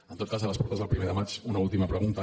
en tot cas a les portes del primer de maig una última pregunta